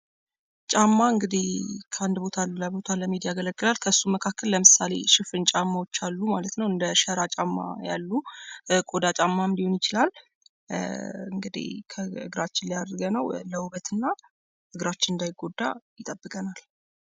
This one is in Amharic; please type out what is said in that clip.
ጫማ እንግዲህ ከአንድ ቦታ ወደሌላ ቦታ ለመሄድ ያገለግላል። ከእርሱ መካከል ሽፍን ጫማዎች አሉ ማለት ነው። እንደሸራ ጫማ ያሉ፣ ቆዳ ጫማ ሊሆን ይችላል። እንግዲህ ከእግራችን ላይ አድርገነው ለውበት እና እግራችን እንዳይጎዳ ይጠቅመናል።